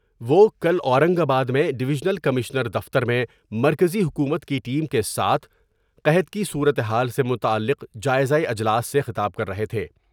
وہ کل اورنگ آباد میں ڈویژنل کمشنر دفتر میں مرکزی حکومت کی ٹیم کے ساتھ قحط کی صورتحال سے متعلق جائزہ اجلاس سے خطاب کر رہے تھے ۔